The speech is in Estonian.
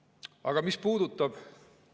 Aga mis puudutab …